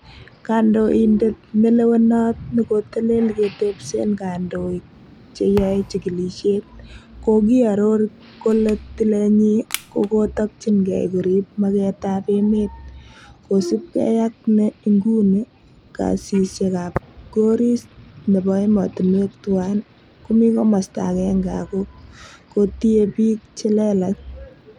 Kandoindet nelewenot nekotelel ketebsen kondoik che yoe chigilisiet, kokioror kole tilenyin kokitokyingee korib magetab emet, kosiibge ak ne en inguni kasisiekab goris nebo emotinwek tuan ko kimi komosto agenge ak kotie bik che lelach.